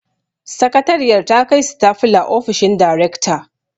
Sakatariyar ta kai sitafula ofishin darekta